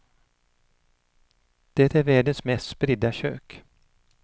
Det är världens mest spridda kök.